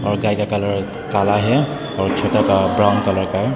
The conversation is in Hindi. और गाय का कलर काला है और छोटा का ब्राउन कलर है।